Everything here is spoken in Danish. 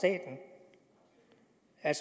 af